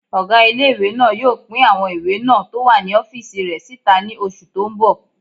Ọgá ilé-ìwé náà yóò pín àwọn ìwé náà tó wà ní ọ́fìsì rẹ̀ síta ní oṣù tó n bọ̀